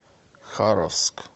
харовск